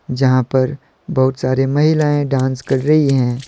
जहां पर बहुत सारी महिलाएं डांस कर रही हैं।